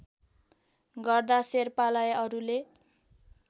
गर्दा शेर्पालाई अरूले